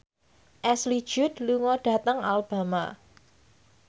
Ashley Judd lunga dhateng Alabama